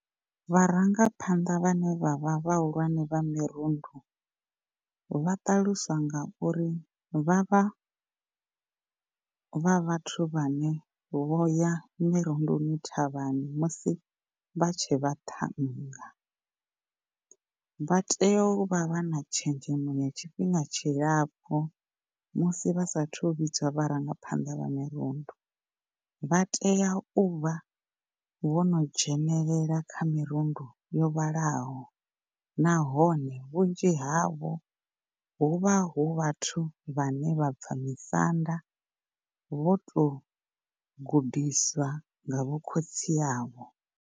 Vharangaphanḓa vhane vha vha vhahulwane vha mirundu vha ṱaluswa ngauri vhavha vha vhathu vhane vhoya mirundoni thavhani musi vha tshe vhaṱhannga. Vha tea u vha vha na tshenzhemo ya tshifhinga tshilapfu musi vha saathu vhidzwa vharangaphanḓa ya mirundu vha tea u vha vho no dzhenelela kha mirundu yo vhalaho nahone vhunzhi havho huvha hu vhathu vhane vha bva misanda vho tou gudiswa nga vho khotsi a vho.